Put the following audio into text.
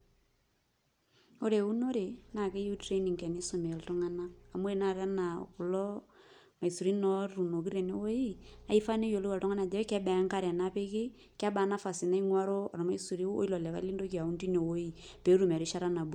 Ore eunore naa keyieu training tenisumi iltung'anak amu ore tanakata enaa kulo maisurin otuunoki tenewuei naa kifaa pee eyiolou oltung'ani ajo kebaa enkare napiki, kebaa nafasi naing'uaro ormaisuri o ilo likai lintoki aaun tine wuei pee etum erishata nabulunyie.